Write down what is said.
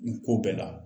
Nin ko bɛɛ la